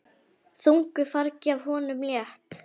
Þungu fargi af honum létt.